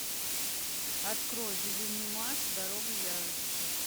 открой безумный макс дорога ярости